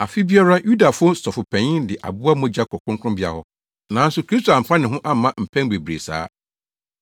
Afe biara Yudafo Sɔfopanyin de aboa mogya kɔ Kronkronbea hɔ. Nanso Kristo amfa ne ho amma mpɛn bebree saa.